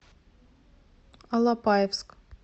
алапаевск